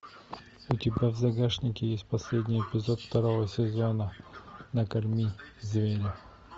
у тебя в загашнике есть последний эпизод второго сезона накорми зверя